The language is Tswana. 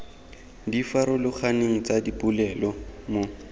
di farologaneng tsa dipolelo mo